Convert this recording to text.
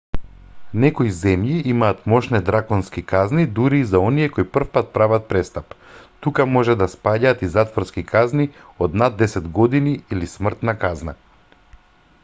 некои земји имаат мошне драконски казни дури и за оние кои првпат прават престап тука може да спаѓаат и затворски казни од над 10 години или смртна казна